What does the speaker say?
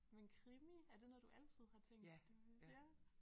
Men krimi er det noget du altid har tænkt det var ja